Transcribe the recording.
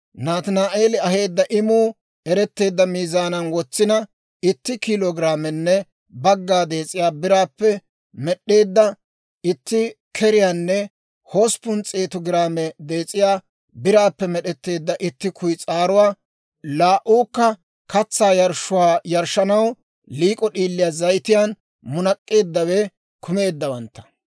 Nataani'eeli aheedda imuu eretteedda miizaanan wotsina, itti kiilo giraamenne bagga dees'iyaa biraappe med'd'eedda itti keriyaanne hosppun s'eetu giraame dees'iyaa biraappe med'd'eedda itti kuyis'aaruwaa, laa"uukka katsaa yarshshuwaa yarshshanaw liik'o d'iilii zayitiyaan munak'k'eeddawe kumeeddawantta;